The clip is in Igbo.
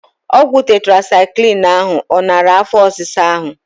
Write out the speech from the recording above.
Ọgwụ tetrasaịklin ahụ ọ nara afọ ọsisa ahụ?